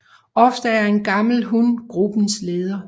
Ofte er en gammel hun gruppens leder